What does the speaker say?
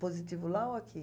Positivo lá ou aqui?